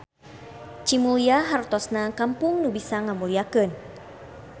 Cimulya hartosna kampung nu bisa ngamulyakeun.